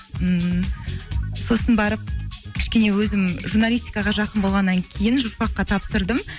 ммм сосын барып кішкене өзім журналистикаға жақын болғаннан кейін журфак қа тапсырдым